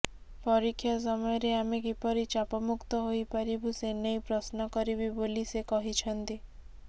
ପରୀକ୍ଷା ସମୟରେ ଆମେ କିପରି ଚାପ ମୁକ୍ତ ହୋଇପାରିବୁ ସେନେଇ ପ୍ରଶ୍ନ କରିବି ବୋଲି ସେ କହିଛନ୍ତି